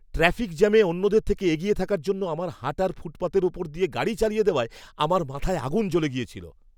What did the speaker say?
Traffic জ্যামে অন্যদের থেকে এগিয়ে থাকার জন্য আমার হাঁটার ফুটপাথের ওপর দিয়ে গাড়ি চালিয়ে দেওয়ায় আমার মাথায় আগুন জ্বলে গিয়েছিল।